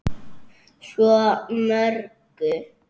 Svo mörgu.